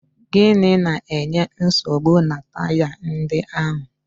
Gịnị na-enye nsogbu na taya ndị ahụ?